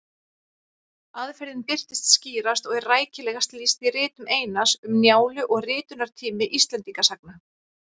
Aðferðin birtist skýrast og er rækilegast lýst í ritum Einars, Um Njálu og Ritunartími Íslendingasagna.